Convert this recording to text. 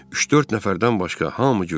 Üç-dörd nəfərdən başqa hamı güldü.